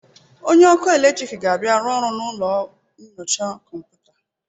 Onye ọkụ eletriki ga-abịa rụọ ọrụ na ụlọ nyocha kọmputa.